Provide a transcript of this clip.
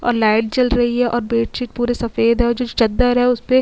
और लाइट जल रही है और बेडशीट पूरी सफेद है और जो चद्दर है उस पे --